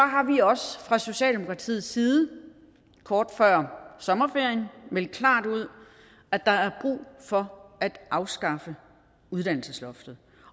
har vi også fra socialdemokratiets side kort før sommerferien meldt klart ud at der er brug for at afskaffe uddannelsesloftet